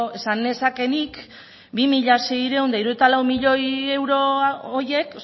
esan nezake nik bi mila seiehun eta hirurogeita lau milioi euro horiek